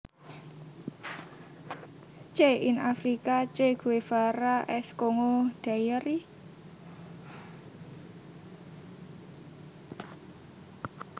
Che in Africa Che Guevara s Congo Diary